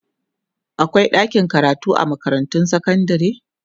akwai ɗakin karatu a makarantun sekandare